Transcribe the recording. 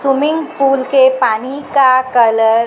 swimming pool के पानी का कलर --